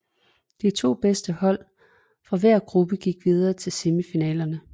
De to bedste hold fra hver gruppe gik videre til semifinalerne